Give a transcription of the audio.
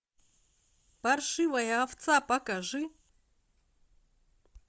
паршивая овца покажи